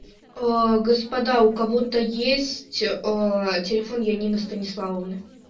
аа господа у кого-то есть ээ телефон янина станиславовна